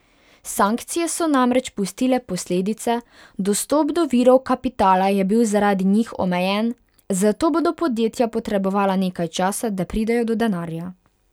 Sankcije so namreč pustile posledice, dostop do virov kapitala je bil zaradi njih omejen, zato bodo podjetja potrebovala nekaj časa, da pridejo do denarja.